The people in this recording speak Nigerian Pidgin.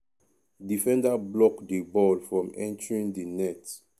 defender block di ball from entering di net.